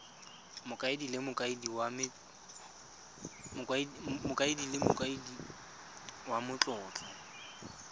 mokaedi le mokaedi wa matlotlo